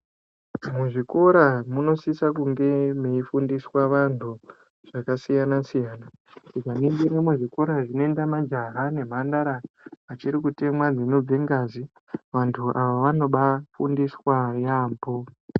Muzvikora munosisa kunge meifundiswa antu zvakasiyana siyana tikaningira zvikora zvinoenda majaha nemhandara achiri kutemwa dzinobva ngazi vantu ava vanobafundiswa yambo.